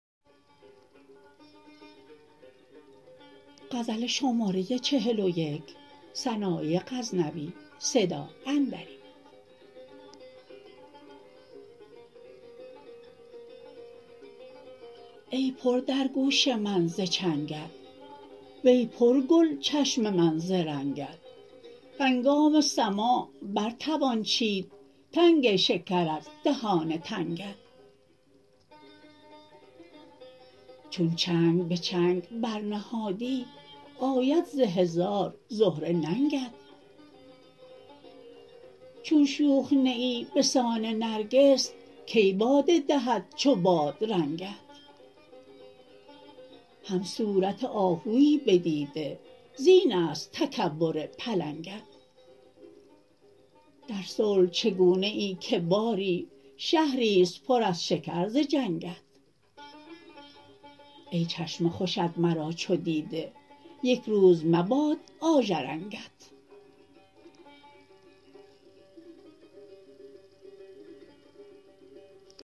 ای پر در گوش من ز چنگت وی پر گل چشم من ز رنگت هنگام سماع بر توان چید تنگ شکر از دهان تنگت چون چنگ به چنگ بر نهادی آید ز هزار زهره ننگت چون شوخ نه ای بسان نرگس کی باده دهد چو بادرنگت هم صورت آهویی به دیده زین است تکبر پلنگت در صلح چگونه ای که باری شهری ست پر از شکر ز جنگت ای چشم خوشت مرا چو دیده یک روز مباد آژرنگت